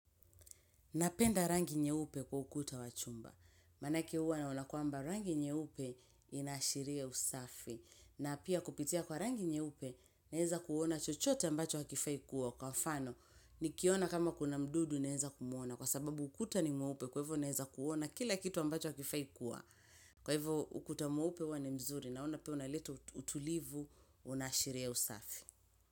Napenda rangi nyeupe kwa ukuta wachumba. Manake uwa naona kuamba rangi nyeupe inashiria usafi. Na pia kupitia kwa rangi nyeupe, neeza kuona chochote ambacho hakifai kuwa. Kwa mfano, nikiona kama kuna mdudu, neeza kumuona. Kwa sababu ukuta ni mweaupe, kwa hivyo neeza kuona kila kitu ambacho hakifai kuwa. Kwa hivyo, ukuta muaupe uwa ni mzuri. Naona pia unaleta utulivu, unashiria usafi.